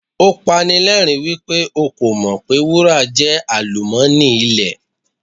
Ó pani lẹ́rìń wípé o kò mọ̀ pé wúrà jẹ́ àlùmọ́nì ilẹ̀.